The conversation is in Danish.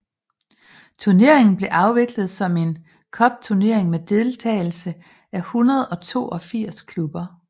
Turneringen blev afviklet som en cupturnering med deltagelse af 182 klubber